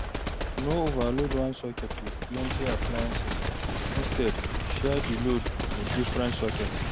No overload one socket with plenty appliances instead, share di load with different socket